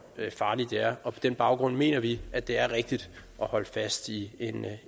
farligt det er og på den baggrund mener vi at det er rigtigt at holde fast i en